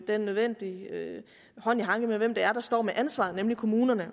den nødvendige hånd i hanke med hvem der står med ansvaret nemlig kommunerne